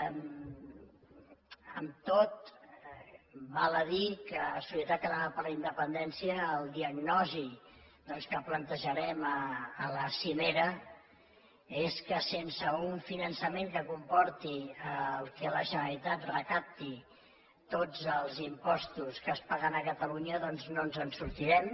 amb tot val a dir que solidaritat catalana per la independència la diagnosi doncs que plantejarem a la cimera és que sense un finançament que comporti que la generalitat recapti tots els impostos que es paguen a catalunya doncs no ens en sortirem